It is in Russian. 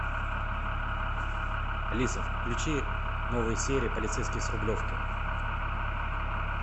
алиса включи новые серии полицейский с рублевки